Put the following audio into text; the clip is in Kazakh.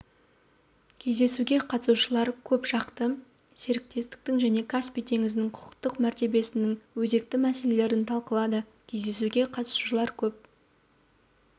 кездесуге қатысушылар көп жақты серіктестіктің және каспий теңізінің құқықтық мәртебесінің өзекті мәселелерін талқылады кездесуге қатысушылар көп